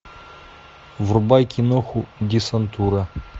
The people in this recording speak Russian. врубай киноху десантура